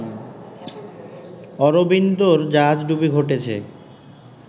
অরবিন্দর জাহাজডুবি ঘটেছে